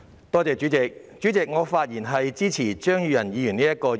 代理主席，我發言支持張宇人議員動議的議案。